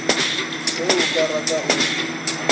ge o ka rata o